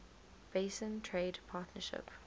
basin trade partnership